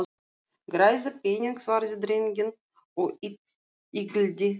Græða pening- svaraði drengurinn og yggldi sig.